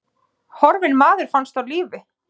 Horfinn maður finnst á lífi